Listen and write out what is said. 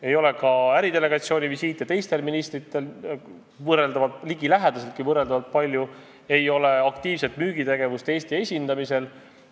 Ei ole ka teistel ministritel ligilähedaseltki võrreldaval arvul äridelegatsioonivisiite, ei ole aktiivset müügitegevust Eesti esindamisel.